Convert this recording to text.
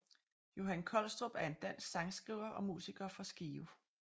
Johan Kolstrup er en dansk sangskriver og musiker fra Skive